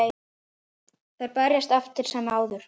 Þær berjast eftir sem áður.